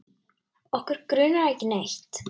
Okkur grunar ekki neitt.